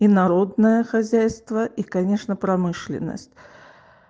и народное хозяйство и конечно промышленность